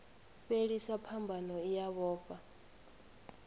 fhelisa phambano i a vhofha